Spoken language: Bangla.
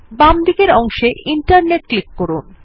বামদিকের অংশে ইন্টারনেট ক্লিক করুন